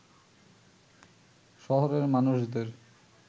শহরের মানুষদের